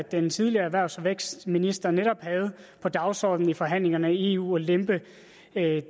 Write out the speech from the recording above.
at den tidligere erhvervs og vækstminister netop havde på dagsordenen i forhandlingerne i eu at lempe